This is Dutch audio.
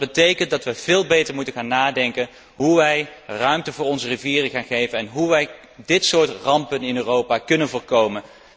Dat betekent dat we veel beter moeten onderzoeken hoe wij ruimte aan onze rivieren kunnen geven en hoe wij dit soort rampen in Europa kunnen voorkomen.